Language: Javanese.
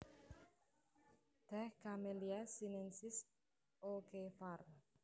Tèh Camellia sinensis O K var